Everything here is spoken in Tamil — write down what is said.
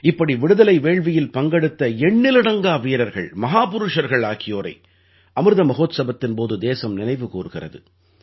இப்படி விடுதலை வேள்வியில் பங்கெடுத்த எண்ணிலடங்கா வீரர்கள் மஹாபுருஷர்கள் ஆகியோரை அமிர்த மஹோத்ஸவத்தின் போது தேசம் நினைவு கூர்கிறது